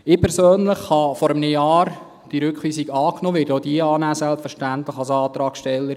Ich persönlich habe diese Rückweisung vor einem Jahr angenommen und werde als Antragssteller selbstverständlich auch diese annehmen.